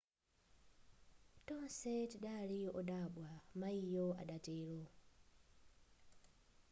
tonse tidali wodabwa mayiyo adatero